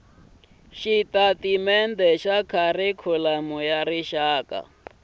xitatimendhe xa kharikhulamu xa rixaka